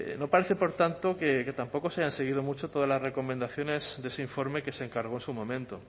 no parece por tanto que tampoco se hayan seguido mucho todas las recomendaciones de ese informe que se encargó en su momento